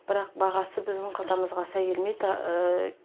бірақ бағасы біздің қалтамызға сай келмейді